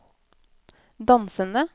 dansende